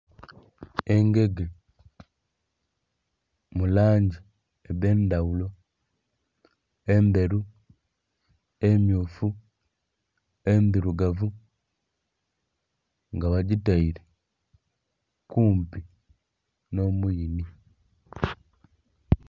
Engege mu langi edhe ndhaghulo endheru, emmyufu, endhirugavu nga bagitaire kumpi no muyiinhi.